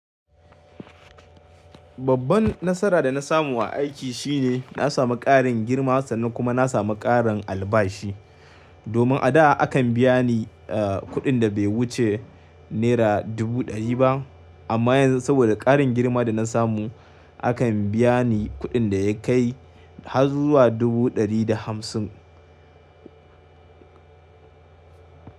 Babban nasara da na samu a aiki shine na samu ƙarin girma sannan kuma na samu ƙarin albashi. Domin a da akan biya ni, eh, kuɗin da bai wuce naira dubu ɗari ba amma yanzu saboda ƙarin girma da na samu akan biya ni kuɗin da ya kai har zuwa dubu ɗari da hamsin.